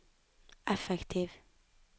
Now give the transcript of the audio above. effektiv